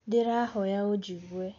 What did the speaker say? Ndĩrahoya ũnjigue.